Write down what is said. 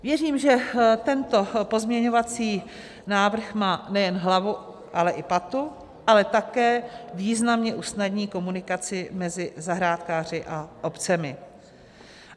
Věřím, že tento pozměňovací návrh má nejen hlavu, ale i patu, ale také významně usnadní komunikaci mezi zahrádkáři a obcemi.